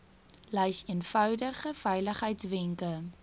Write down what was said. lys eenvoudige veiligheidswenke